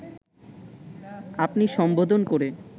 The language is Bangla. আপনি সম্বোধন করে